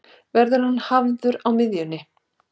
Verður hann hafður á miðjunni?